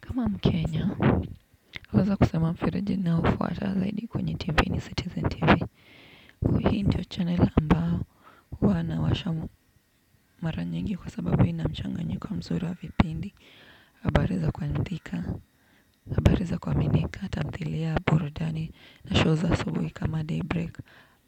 Kama mkenya naweza kusema mfereji ninaofuata zaidi kwenye TV ni Citizen TV. Hii ndio channel ambao huwa nawasha mara nyingi kwa sababu ina mchanganyiko mzuri wa vipindi. Habari za kuharibika, habari za kuaminika tamthilia burudani na show za asubuhi kama daybreak